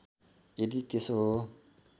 यदि त्यसो हो